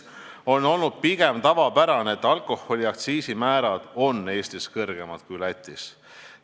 On olnud pigem tavapärane, et alkoholiaktsiisi määrad on Eestis kõrgemad kui Lätis.